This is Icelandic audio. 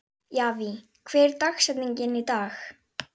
Javí, hver er dagsetningin í dag?